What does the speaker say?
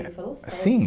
Ele falou Sério? Sim